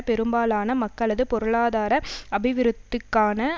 பெரும்பாலான மக்களது பொருளாதார அபிவிருத்திக்கான